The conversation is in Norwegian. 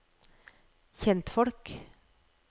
kjentfolk